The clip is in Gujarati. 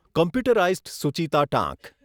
કોમ્પ્યુટરાઈઝ્ડ સુચિતા ટાંક